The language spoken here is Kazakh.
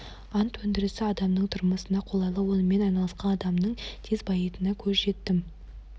ант өндірісі адамның тұрмысына қолайлы онымен айналысқан адамның тез байитынына көзім жетті